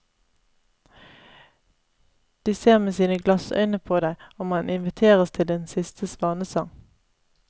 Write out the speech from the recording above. De ser med sine glassøyne på deg, og man inviteres til en siste svanesang.